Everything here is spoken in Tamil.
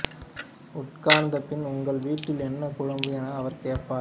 உட்கார்ந்த பின் உங்கள் வீட்டில் என்ன குழம்பு என அவர் கேட்பார்